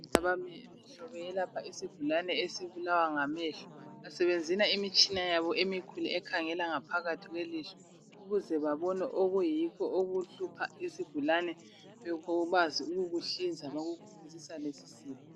Bayelapha isigulane esibulawa ngamehlo basebenzisa imitshina yabo emikhulu ekhangela ngaphakathi kwelihlo ukuze babone okuyikho okuhlupha isigulane bakwazi ukukuhlinza bakukhuphe sisale sisila.